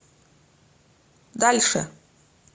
дальше